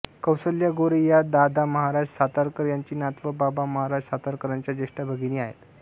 कौसल्या गोरे या दादामहाराज सातारकर यांची नात व बाबा महाराज सातारकरांच्या ज्येष्ठ भगिनी आहेत